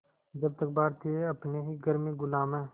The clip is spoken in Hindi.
जब तक भारतीय अपने ही घर में ग़ुलाम हैं